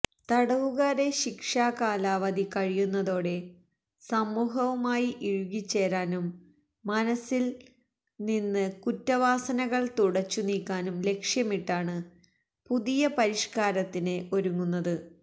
തടവുകാരെ ശിക്ഷാ കാലാവധി കഴിയുന്നതോടെ സമൂഹവുമായി ഇഴുകിച്ചേരാനും മനസ്സില് നിന്ന് കുറ്റവാസനകള് തുടച്ചു നീക്കാനും ലക്ഷ്യമിട്ടാണ് പുതിയ പരിഷ്കാരത്തിന് ഒരുങ്ങുന്നത്